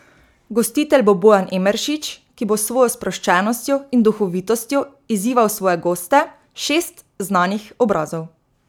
Gostitelj bo Bojan Emeršič, ki bo s svojo sproščenostjo in duhovitostjo izzival svoje goste, šest znanih obrazov.